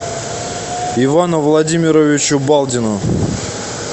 ивану владимировичу балдину